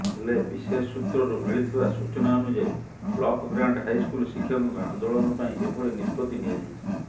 ହେଲେ ବିଶେଷସୂତ୍ରରୁ ମିଳିଥିବା ସୂଚନା ଅନୁଯାୟୀ ବ୍ଳକଗ୍ରାଣ୍ଟ ହାଇସ୍କୁଲ ଶିକ୍ଷକଙ୍କ ଆନ୍ଦୋଳନ ପାଇଁ ଏଭଳି ନିଷ୍ପତ୍ତି ନିଆଯାଇଛି